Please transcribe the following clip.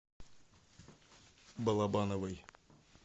балабановой